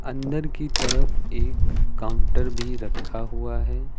अंदर की तरफ एक काउंटर भी रखा हुआ है।